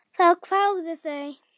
Þá kváðu þau